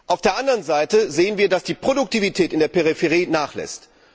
Auf der anderen Seite sehen wir, dass die Produktivität in der Peripherie nachlässt.